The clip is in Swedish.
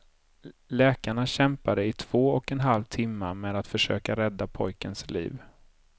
Läkarna kämpade i två och en halv timma med att försöka rädda pojklens liv.